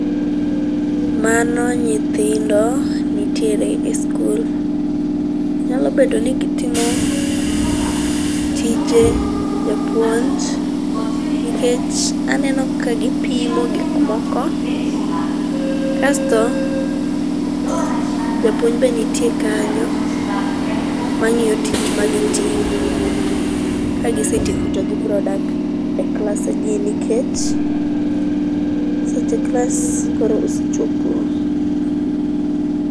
Mano nyithindo nittiere e skul .Nyalo bedo ni gitimo tije japuonj nikech aneno ka gipimo gikmoko kasto japuonj be nitie kanyo mangiyo tich ma gitimo. Kagisetieko to gibro dak e klas gi nikech seche klas koro osechopo